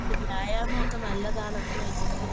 വ്യായാമമൊക്കെ നല്ലതാണെന്ന് വെച്ചിട്ട്